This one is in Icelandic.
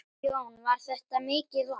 Jón: Var þetta mikið vatn?